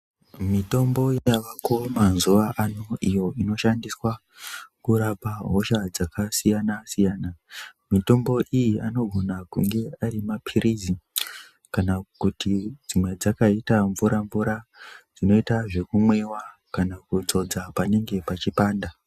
Mitombo yavako mazuvaano iyo inoshandiswa kurapa hosha dzakasiyana siyana, mitombo iyi anogona kunge ari mapirisi kana kuti dzimwe dzakaita mvura mvura dzinoita zvekumwiwa kana kuti kudzodza panenge pachipanda.